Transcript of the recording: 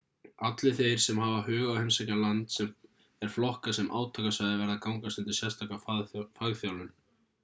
allir þeir sem hafa hug á að heimsækja land sem er flokkað sem átakasvæði verða að gangast undir sérstaka fagþjálfun